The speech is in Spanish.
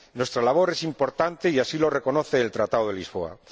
Nuestra labor es importante y así lo reconoce el Tratado de Lisboa.